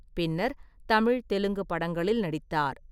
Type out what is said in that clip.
பின்னர் தமிழ், தெலுங்கு படங்களில் நடித்தார்.